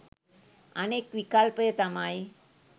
අනෙක් විකල්පය තමයි